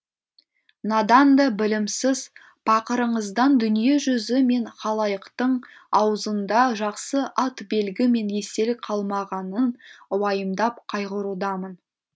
надан да білімсіз пақырыңыздан дүниежүзі мен халайықтың аузында жақсы ат белгі мен естелік қалмағанын уайымдап қайғырудамын